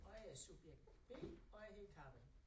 Og jeg er subjekt B og jeg hedder Karin